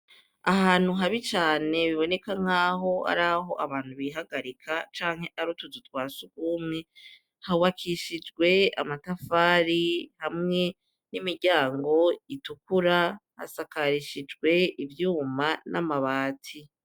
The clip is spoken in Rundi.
Ahantu habi cane, haboneka nk'aho abantu bihagarika canke ari utuzu twa surwumwe, hubakishijwe amatafari hamwe n'imiryango itukura, hasakarishijwe ivyuma n'amabati.